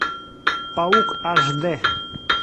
паук аш дэ